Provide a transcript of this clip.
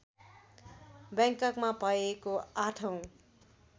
बैंककमा भएको ८ औँ